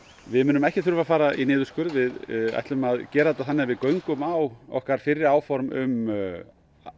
við munum ekki þurfa að fara í niðurskurð við ætlum að gera þetta þannig að við göngum á okkar fyrri áform um